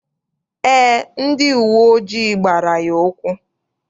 Eé, ndị uwe ojii gbara ya ụkwụ.